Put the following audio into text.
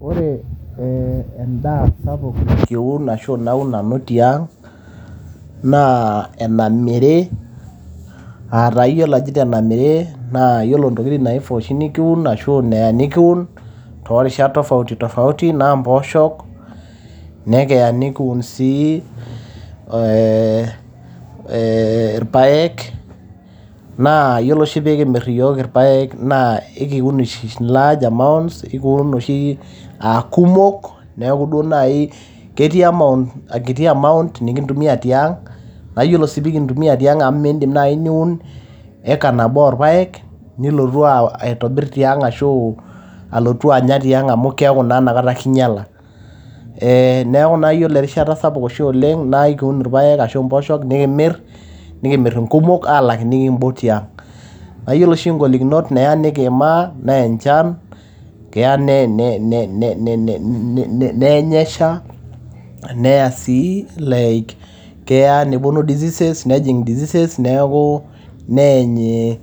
Ore endaa sapuk naun nanu tiang naa, enamiri aa taa ajito enamiri naa iyiolo intokiting naifaa anaa inikiun too irishat tofauti tofauti naa impooshok, neya nikiun sii ilpaek, naa iyiolo pee kimir oshi iyiok ilpaek naa ekiun oshi large amount. Kiun oshi aa kumok, ketii amount nikintumia tiang naa iyioli sii tenikintumia tiang naa amu miindim naaji niun eka nabo oolpaek nilotu aitobir tiang ashu anya tiang amu keaku naa keinyala. Neaku naa ore oshi erishata sapuk oleng naa ekiun ilpaek ashu impooshok nikimir, nikimir inkumok alang nikimbok tiang. naa iyiolo oshi inkigolokinotb neya nikiimaa naa enchan keya neny esha, neya nepuonu diseases neaku neany